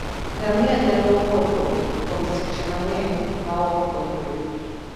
Ngamia nyalo wuotho kuom seche mang'eny maok oyue.